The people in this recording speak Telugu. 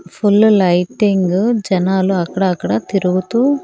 ఫుల్లు లైటింగు జనాలు అక్కడ అక్కడ తిరుగుతూ--